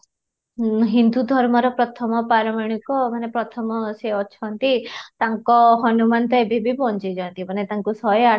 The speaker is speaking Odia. ହୁଁ ହିନ୍ଦୁ ଧର୍ମର ପ୍ରଥମ ପାରାମାଣିକ ମାନେ ପ୍ରଥମ ସେ ଅଛନ୍ତି, ତାଙ୍କ ହନୁମାନ ତ ଏବେ ବି ବଞ୍ଚିଛନ୍ତି ମାନେ ତାଙ୍କୁ ଶହେ ଆଠ